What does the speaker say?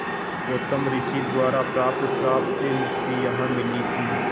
गौतम ऋषि द्वारा प्राप्त श्राप से मुक्ति यहाँ मिली थी